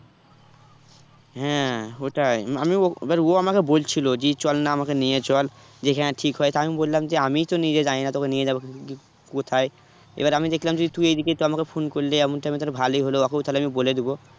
হ্যাঁ ওটাই আমিও ও এবার ও আমাকে বলছিলো যে চলনা আমাকে নিয়ে চল যেখানে ঠিক হয় তো আমি বললাম যে আমিই তো নিজে জানিনা তোকে নিয়ে যাবো কি কোথায় এবার আমি দেখলাম যে তুই এদিকে তো আমাকে phone করলি এমন time এ তাহলে ভালোই হলো ওকেও তাহলে আমি বলে দিবো